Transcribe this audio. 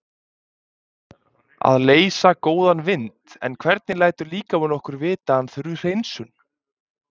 Að leysa góðan vind En hvernig lætur líkaminn okkur vita að hann þurfi hreinsun?